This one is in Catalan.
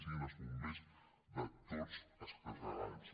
siguin els bombers de tots els catalans